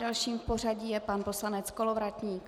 Dalším v pořadí je pan poslanec Kolovratník.